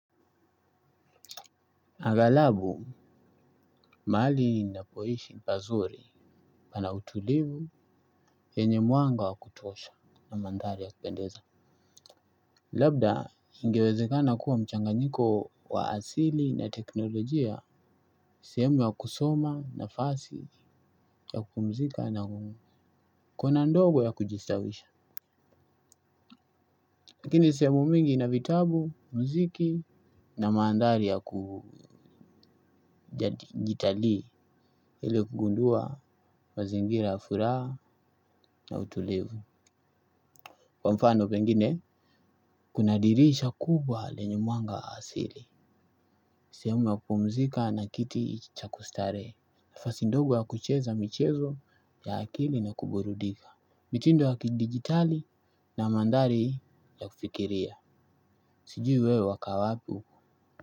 Agalabu, mahali ninapoishi pazuri pana utulivu, yenye mwanga wa kutuosha na mandhari ya kupendeza. Labda, ingewezekana kuwa mchanganyiko wa asili na teknolojia, sehemu ya kusoma nafasi ya kupumzika na kuna ndogo ya kujistawisha. Lakini, sehemu mingi ina vitabu, muziki na mandhari ya kujitalii ili kugundua mazingira ya furaha na utulivu. Kwa mfano pengine, kuna dirisha kubwa lenye mwanga asili. Sehemu ya kupumzika na kiti cha kustarehe nafasi ndogo ya kucheza michezo ya akili na kuburudika. Mitindo ya kidigitali na mandhari ya kufikiria. Sijui wewe wakaa wapi huku.